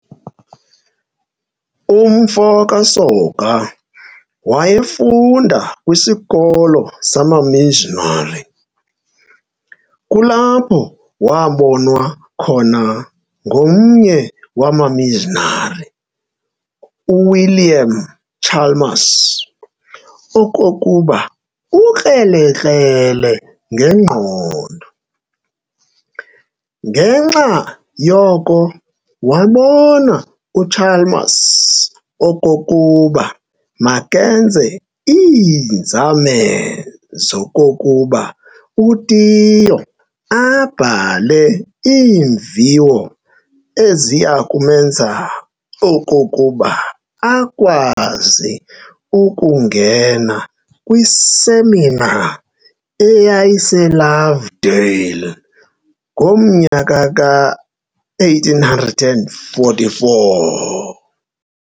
Umfo kaSoga wayefunda kwisikolo sama-missionary, kulapho wabonwa khona ngomnye wama-missionary uWilliam Chalmers okokuba ukrelekrele ngengqondo. Ngenxa yoko wabona uChalmers okokuba makenze iinzame zokokuba uTiyo abhale iimviwo eziyakwenza okokuba akwazi ukungena kwisemina eyayise-Lovedale ngo1844.